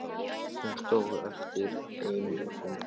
Hún stóð eftir ein og stundi.